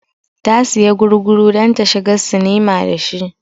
Ta siya gurguru don ta shiga sinima da shi